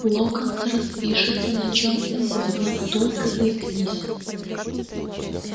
локонс распишется на чём угодно только заикнись